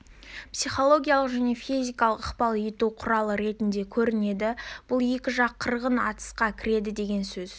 психологиялық және физикалық ықпал ету құралы ретінде көрінеді бұл екі жақ қырғын атысқа кіреді деген сөз